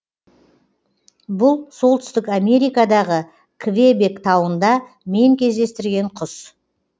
бұл солтүстік америкадағы квебек тауында мен кездестірген құс